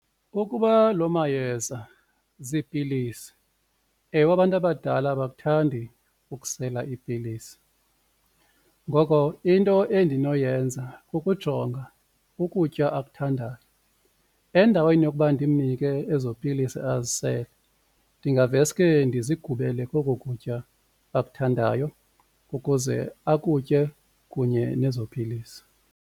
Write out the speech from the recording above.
Ukuba loo mayeza ziipilisi, ewe abantu abadala abakuthandi ukusela iipilisi. Ngoko into endinoyenza kukujonga ukutya akuthandayo endaweni yokuba ndimnike ezo pilisi azisele ndingaveske ndizigubele kokokutya akuthandayo ukuze akutye kunye nezo pilisi.